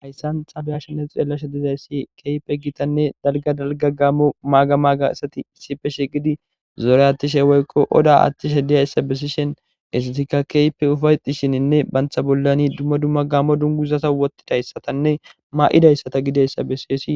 hayssan xaabeyashenne xeellashadizayssi keype gitanne dalga dalgagammo maaga maaga asati issife sheqidi zoore attishe woykko oda attishe diyayssa bessishen isatikka keype ufayxishininne bantha bollani dumma dumma gammo dunguzasa wottidayssatanne maa7idayssata gidayssa besiesi